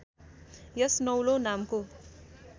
यस नौलो नामको